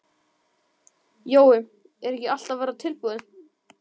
Jói, er ekki allt að verða tilbúið?